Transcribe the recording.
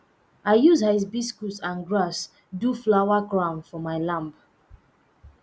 i use hibiscus and grass do flower crown for my lamb